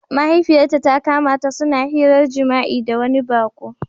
Mahaifiyarta ta kama ta suna hiran jima'i da wani baƙo.